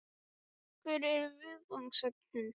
Hver eru viðfangsefnin?